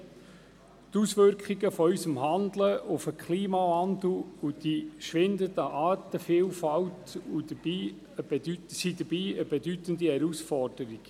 Die Auswirkungen unseres Handelns auf den Klimawandel und die schwindende Artenvielfalt und sind dabei eine bedeutende Herausforderung.